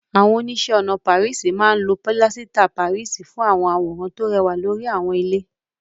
Àwọn oníṣẹ́-ọnà máa ń lo pilasita Páríìsì fún àwọn àwòrán tó rẹwà lórí àwọn ilé.